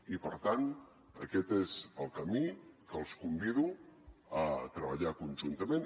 i per tant aquest és el camí que els convido a treballar conjuntament